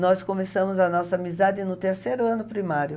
Nós começamos a nossa amizade no terceiro ano primário.